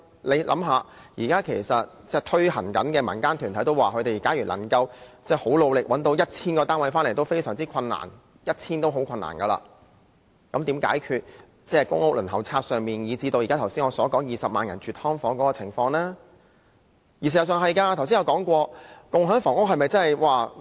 大家想想，其實現時正在推行該計劃的民間團體也表示，努力找到 1,000 個單位已是非常困難的事情，如何能解決公屋輪候冊上人數眾多的問題，以至我剛才提及正入住"劏房"的20萬人的情況呢？